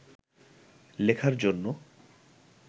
লেখার জন্য